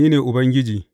Ni ne Ubangiji.